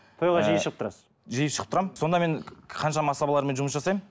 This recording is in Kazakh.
тойға жиі шығып тұрасыз жиі шығып тұрамын сонда мен қаншама асабалармен жұмыс жасаймын